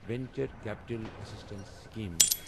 venture capital assistance scheme